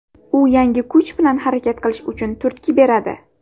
U yangi kuch bilan harakat qilish uchun turtki beradi.